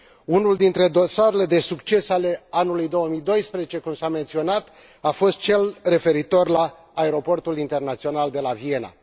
Unul dintre dosarele de succes ale anului 2012, cum s a menționat, a fost cel referitor la Aeroportul Internațional de la Viena.